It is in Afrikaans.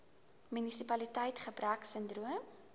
immuniteits gebrek sindroom